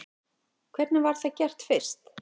Hvernig var það gert fyrst?